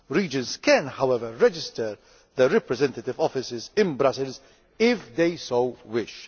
Regions can, however, register their representative offices in Brussels if they so wish.